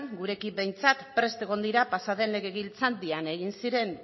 gurekin behintzat prest egon dira pasaden legegintzaldian egin ziren